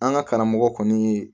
An ka karamɔgɔ kɔni ye